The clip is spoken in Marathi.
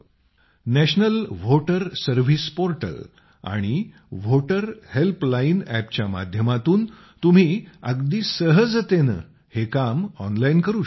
नॅशनल व्होटर सर्व्हिस पोर्टल आणि व्होटर हेल्पलाइन अॅप च्या माध्यमातून तुम्ही अगदी सहजतेनं हे काम ऑनलाइन करू शकता